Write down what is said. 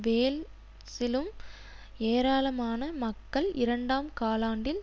வேல்ஸிலும் ஏராளமான மக்கள் இரண்டாம் காலாண்டில்